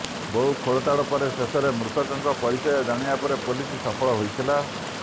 ବହୁ ଖୋଳତାଡ ପରେ ଶେଷରେ ମୃତକଙ୍କ ପରିଚୟ ଜାଣିବାରେ ପୋଲିସ ସଫଳ ହୋଇଥିଲା